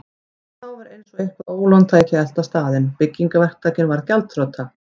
En þá var eins og eitthvert ólán tæki að elta staðinn: Byggingaverktakinn varð gjaldþrota.